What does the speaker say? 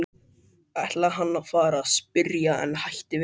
ætlaði hann að fara að spyrja en hætti við.